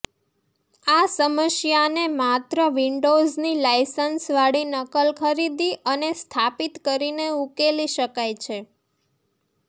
આ સમસ્યાને માત્ર વિન્ડોઝની લાયસન્સવાળી નકલ ખરીદી અને સ્થાપિત કરીને ઉકેલી શકાય છે